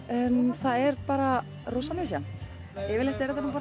það er bara rosa misjafnt yfirleitt er þetta bara